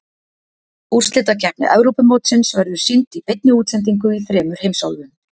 Úrslitakeppni Evrópumótsins verður sýnd í beinni útsendingu í þremur heimsálfum.